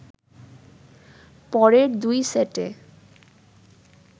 পরের দুই সেটে